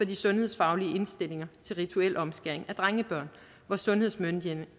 de sundhedsfaglige indstillinger til rituel omskæring af drengebørn hvor sundhedsmyndighederne